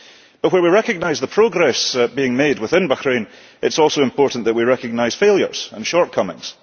But where we recognise the progress being made within Bahrain, it is also important that we recognise failures and shortcomings.